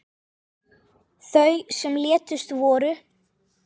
Þau sem létust voru